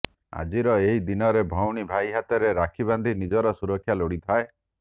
ଆଜିର ଏହି ଦିନରେ ଭଉଣୀ ଭାଇ ହାତରେ ରାକ୍ଷୀ ବାନ୍ଧି ନିଜର ସୁରକ୍ଷା ଲୋଡିଥାଏ